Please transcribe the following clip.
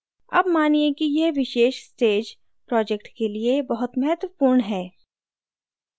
अब मानिए कि यह विशेष stage project के लिए बहुत महत्वपूर्ण है